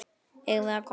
Eigum við að koma út?